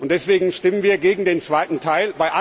Deswegen stimmen wir gegen den zweiten Teil.